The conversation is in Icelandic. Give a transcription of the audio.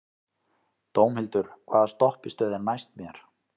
Dómhildur, hvaða stoppistöð er næst mér?